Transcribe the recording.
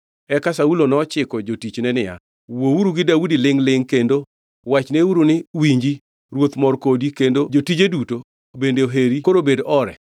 Eka Saulo nochiko jotichne niya, “Wuouru gi Daudi lingʼ-lingʼ kendo wachneuru ni, ‘Winji, ruoth mor kodi kendo jotije duto bende oheri koro bed ore.’ ”